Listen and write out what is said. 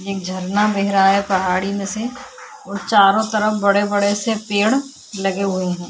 एक झरना बह रहा है पहाड़ी में से चारो तरफ बड़े-बड़े से पेड़ लगे हुए है।